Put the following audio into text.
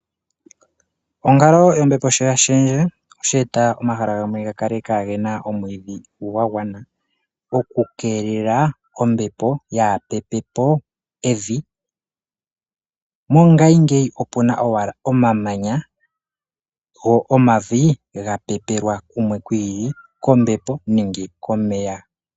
Onkalo yombepo sho yashendje osheta omahala gamwe gakale kagena omwidhi gwagwana oku kelela ombepo yapepepo evi, mongayi ngeyi opuna owala omamanya , go omavi gapepelwa kumwe kwiili kombepo nenge komeya.